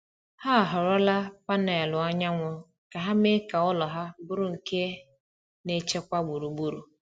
Ha họrọla panelụ anyanwụ ka ha mee ka ụlọ ha bụrụ nke na-echekwa gburugburu.